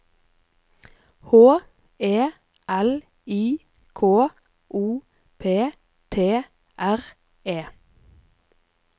H E L I K O P T R E